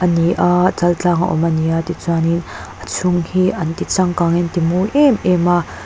ani a chaltlang a awm ani a tichuanin a chhung hi anti changkang in anti mawi em em a.